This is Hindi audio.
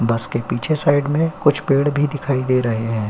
बस के पीछे साइड में कुछ पेड़ भी दिखाई दे रहे हैं।